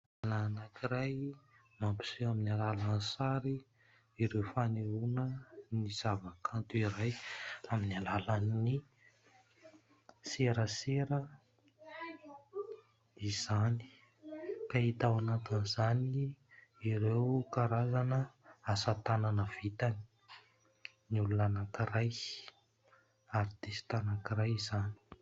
Lehilahy anankiray mampiseho amin'ny alalan'ny sary ireo fanehoana ny zavakanto iray, amin'ny alalan'ny serasera izany, ka hita ao anatin'izany ireo karazana asa tanana vitan'ny olona anankiray, "artiste" anankiray izany.